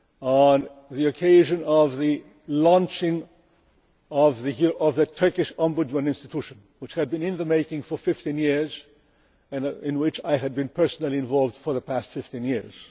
on the occasion of the launching of the Turkish Ombudsman institution, which had been in the making for 15 years and in which I have been personally involved for the past 15 years.